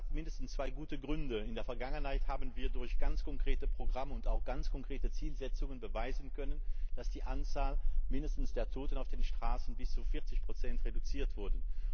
Das hat mindestens zwei gute Gründe In der Vergangenheit haben wir durch ganz konkrete Programme und auch ganz konkrete Zielsetzungen beweisen können, dass die Anzahl zumindest der Toten auf den Straßen bis zu 40 reduziert wurde.